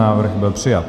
Návrh byl přijat.